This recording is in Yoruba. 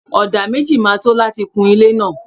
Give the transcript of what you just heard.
Ọdà méjì ma tó láti kun ilé náà.